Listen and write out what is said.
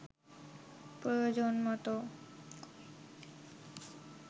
প্রয়োজনমতো